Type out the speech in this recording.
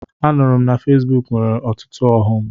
Anụrụ m na Fesbuk nwere ọtụtụ ọghọm.